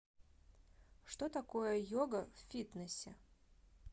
что такое йога в фитнесе